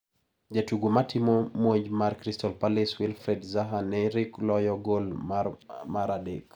Jatugo matimo monj mar Crystal palace Wilfried Zaha ne rik loyo gol mare mar adek.